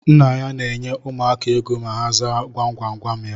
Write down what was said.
Nna ya na enye ụmụaka égo ma ha zaa gwam gwam gwam ya